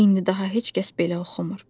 İndi daha heç kəs belə oxumur.